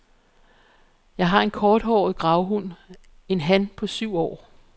Jeg har en korthåret gravhund, en han på syv år.